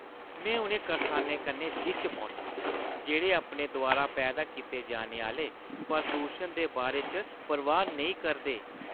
में उ'नें करसाने कन्नै जिच्च पौन्नां जेह्ड़े अपने द्वारा पैदा कीते जाने आह्‌ले प्रदूशन दे बारे च परवाह् नेईं करदे।